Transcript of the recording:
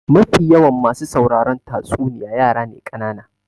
Mafi yawan masu sauraron tatsuniya yara ne kanana.